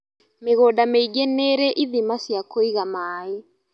Mĩgũnda mĩingi nĩrĩ ithima cia kũiga maĩ